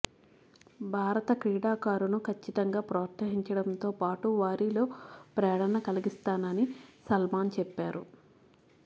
భారత క్రీడాకారును కచ్చితంగా ప్రొత్సహించడంతో పాటు వారిలో ప్రేరణ కలిగిస్తానని సల్మాన్ చెప్పారు